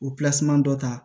O dɔ ta